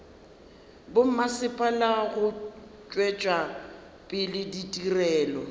bommasepala go tšwetša pele ditirelo